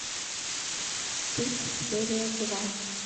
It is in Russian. стыд серия два